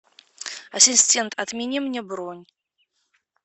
ассистент отмени мне бронь